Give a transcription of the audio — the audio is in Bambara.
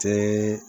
Te